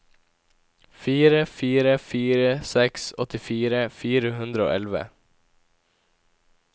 fire fire fire seks åttifire fire hundre og elleve